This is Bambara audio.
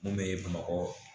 Mun bɛ bamakɔ